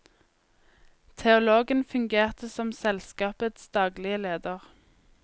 Teologen fungerte som selskapets daglige leder.